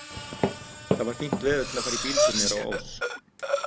Það var fínt veður til að fara í bíltúr niður á Ós.